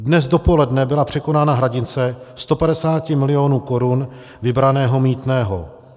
Dnes dopoledne byla překonána hranice 150 milionů korun vybraného mýtného.